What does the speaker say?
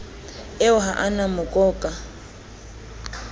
eo ha e na mokoka